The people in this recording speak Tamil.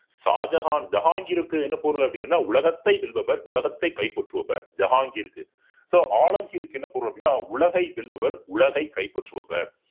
ஷாஜகான் ஜஹாங்கிற்கு என்ன பொருள் அப்படின்னா உலகத்தை வெல்பவர் உலகத்தை கைப்பற்றுபவர் ஜஹாங்கிற்கு so ஆலம்கீருக்கு என்ன பொருள் அப்படின்னா உலகை வெல்பவர் உலகை கைப்பற்றுபவர்